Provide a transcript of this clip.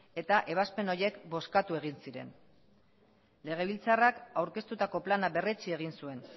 eta ebazpen horiek bozkatu egin ziren legebiltzarrak aurkeztutako plana berretsi egin zuen